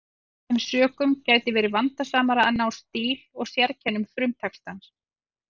Af þeim sökum gæti verið vandasamara að ná stíl og sérkennum frumtextans.